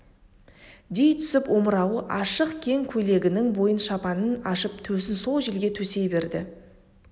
дей түсіп омырауы ашық кең көйлегінің бойын шапанын ашып төсін сол желге төсей береді